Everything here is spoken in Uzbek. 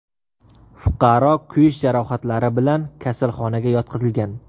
Fuqaro kuyish jarohatlari bilan kasalxonaga yotqizilgan.